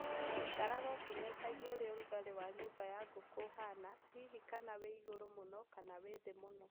Ikaraga ũkĩng'etagia ũrĩa ũrugarĩ wa nyũmba ya ngũkũ ũhana hihi kana wĩ igũrũ mũno kana wĩ thĩ mũno.